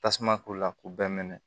Tasuma k'u la k'u bɛɛ minɛ